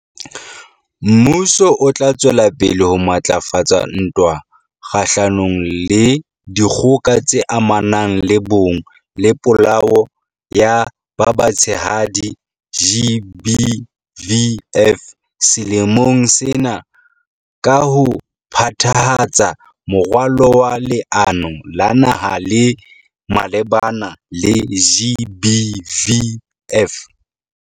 Mmuso o tla tswela pele ho matlafatsa ntwa kgahlanong le Dikgoka tse Amanang le Bong le Polao ya ba Batshehadi, GBVF, selemong sena ka ho phethahatsa Moralo wa Leano la Naha le malebana le GBVF.